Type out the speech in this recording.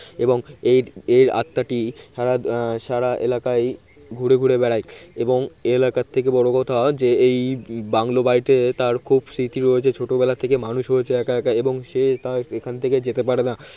এবং এর এর আত্মাটি সারা সারা এলাকায় ঘুরে ঘুরে বেড়ায় এবং এলাকার থেকে বড় কথা যে এই বাংলো বাড়িতে তার খুব স্মৃতি রয়েছে ছোটবেলা থেকে মানুষ হয়েছে একা একা এবং সে তাই এখান থেকে যেতে পারেনা